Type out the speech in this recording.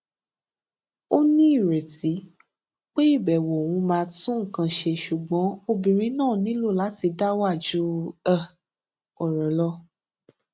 ó ní ìrètí pé ìbèwò òun máa tún nǹkan ṣe ṣùgbọn obìnrin náà nílò láti dá wà ju um òrò lọ